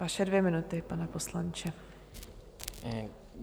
Vaše dvě minuty, pane poslanče.